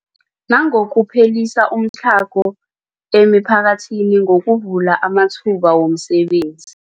Nangokuphelisa umtlhago emiphakathini ngokuvula amathuba wemisebenzi.